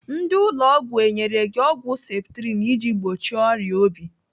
Ndị ụlọ ọgwụ enyere gị ọgwụ septrin iji gbochie ọrịa obi?